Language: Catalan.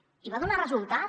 i va donar resultat